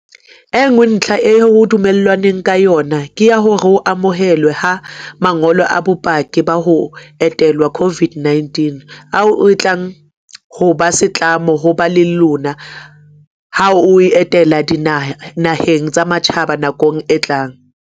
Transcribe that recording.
E nngwe ntlha eo ho dumellanweng ka yona ke ya ho amohelwa ha ma ngolo a bopaki ba ho entelwa COVID-19 - ao e tlang ho ba setlamo ho ba le lona ha o etela dinaheng tsa matjhaba nakong e tlang.